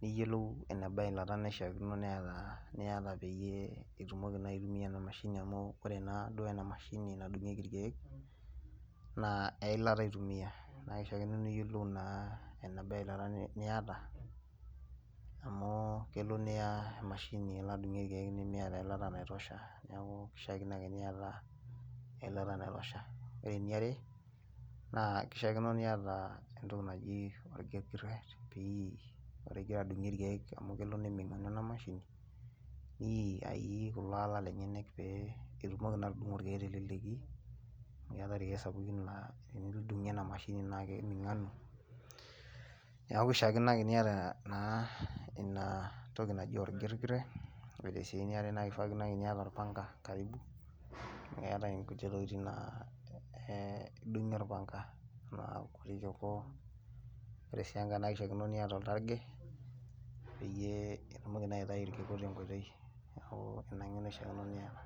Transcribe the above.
niyiolou eneba eilata naishaakino neeta niata peyie itumoki naa aitumia ena mashini amu ore naa duo ena mashini nadung'ieki irkeek, naa eilata itumia. Na kishaakino niyiolou naa enaba eilata niata, amu kelo niya emashini alo adung'ie irkeek nimiata eilata naitusha, neeku kishaakino ake niata eilata naitusha. Ore eniare, naa kishaakino niata entoki naji orkigirret pii. Ore igira adung'ie irkeek amu kelo neming'anu ena mashini, nii aii kulo ala lenyanak pee itumoki naa atudung'o irkeek teleleki, keetae irkeek sapukin laa enidung'ie ena mashini naa keming'anu, neeku kishaakino ake niata naa inatoki naji orgirgirret. Ore si eniare na kishaakino ake niata orpanka karibu, keetae inkulie tokiting naa idung'ie orpanka. Kuti kiku, ore si enkae naa kishaakino niata oltarge, peyie itumoki naa aitayu irkiku tenkoitoi. Neeku ina ng'eno ishaakino niata.